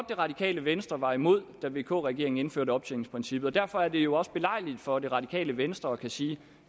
det radikale venstre var imod da vk regeringen indførte optjeningsprincippet og derfor er det jo også belejligt for det radikale venstre at kunne sige